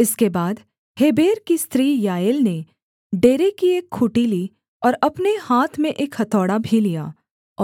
इसके बाद हेबेर की स्त्री याएल ने डेरे की एक खूँटी ली और अपने हाथ में एक हथौड़ा भी लिया